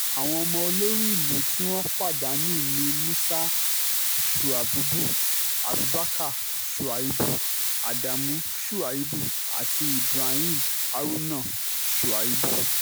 àwọn ọmọ olórí ìlú ohun tí wọ́n pa danu ni musa shuabubu abubakar shuaibù adamu shuaibù àti ibrahim haruna shuaibù